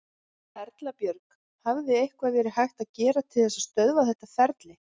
Erla Björg: Hefði eitthvað verið hægt að gera til þess að stöðva þetta ferli?